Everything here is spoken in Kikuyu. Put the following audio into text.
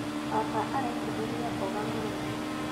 Baba araitĩrĩria mboga maaĩ